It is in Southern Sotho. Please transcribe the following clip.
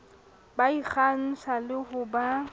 ba ikgantsha le ho ba